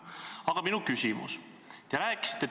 Aga minu küsimus on selline.